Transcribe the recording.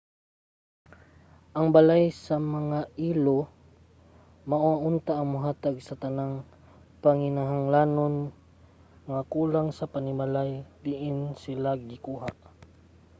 ang balay sa mga ilo mao unta ang mohatag sa tanang panginahanglanon nga kulang sa panimalay diin sila gikuha